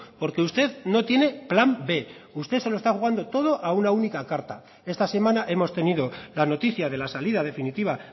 porque usted no tiene plan b usted se lo está jugando todo a una única carta esta semana hemos tenido la noticia de la salida definitiva